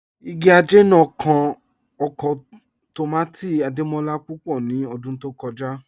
Ìgì ajẹ̀ náà kàn ọkọ̀ tómátì̀ Adémọlá púpọ̀ ní ọ̀dún tó kọja